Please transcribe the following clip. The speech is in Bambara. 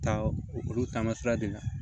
Taa olu taamasira de la